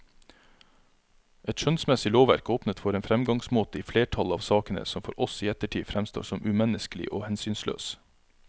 Et skjønnsmessig lovverk åpnet for en fremgangsmåte i flertallet av sakene som for oss i ettertid fremstår som umenneskelig og hensynsløs.